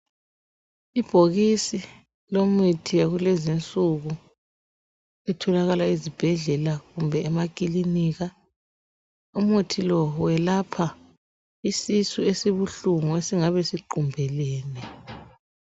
Ibhakisi lemithi yakulezi nsuku itholakala ezibhedlela kumbe emaklinika umuthi lowo welapha isisu esibuhlungu esingabe siqumbeleni